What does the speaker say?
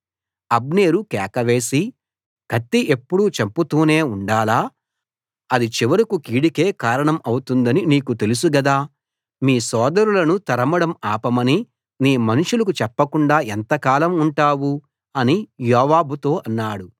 అబ్నేరు కేక వేసి కత్తి ఎప్పుడూ చంపుతూనే ఉండాలా అది చివరకూ కీడుకే కారణం అవుతుందని నీకు తెలుసు గదా మీ సోదరులను తరమడం ఆపమని నీ మనుషులకు చెప్పకుండా ఎంతకాలం ఉంటావు అని యోవాబుతో అన్నాడు